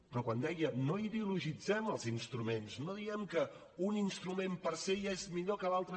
però quan deia no ideologitzem els instruments no diguem que un instrument per se ja és millor que l’altre